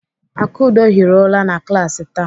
Akudo hiri ụra na klaasị taa.